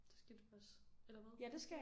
Det skal du også eller hvad?